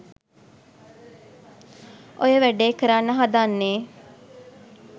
ඔය වැඩේ කරන්න හදන්නේ